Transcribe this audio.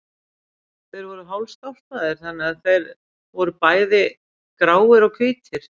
Þeir voru hálfstálpaðir, þannig að þeir voru bæði gráir og hvítir.